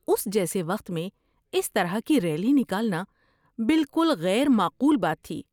اس جیسے وقت میں اس طرح کی ریلی نکالنا بالکل غیر معقول بات تھی۔